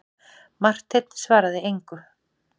Marteinn svaraði engu.